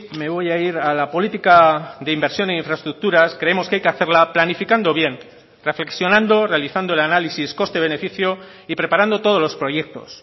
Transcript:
me voy a ir a la política de inversión e infraestructuras creemos que hay que hacerla planificando bien reflexionando realizando el análisis coste beneficio y preparando todos los proyectos